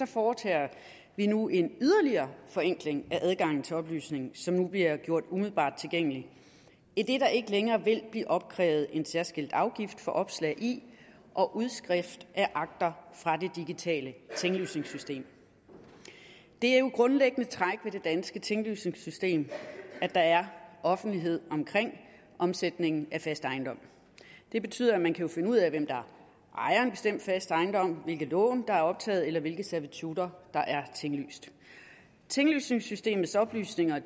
foretager vi nu en yderligere forenkling af adgangen til oplysninger som nu bliver gjort umiddelbart tilgængelige idet der ikke længere vil blive opkrævet en særskilt afgift for opslag i og udskrift af akter fra det digitale tinglysningssystem det er jo et grundlæggende træk ved det danske tinglysningssystem at der er offentlighed omkring omsætningen af fast ejendom det betyder at man kan finde ud af hvem der ejer en bestemt fast ejendom hvilke lån der er optaget eller hvilke servitutter der er tinglyst tinglysningssystemets oplysninger